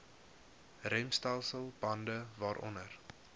remstelsel bande waaronder